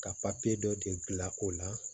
Ka papiye dɔ de dilan o la